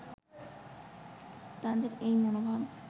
তাদের এই মনোভাব